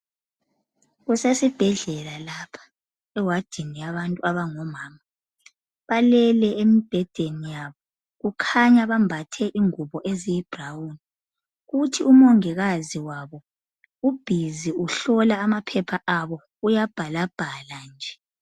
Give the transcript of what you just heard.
Kusesibhedlela lapha ewadini yabomama balele lapha , kukhanya bambathe ingubo eziyiblawuni kuthi umongikazi wabo uhlola amaphepha.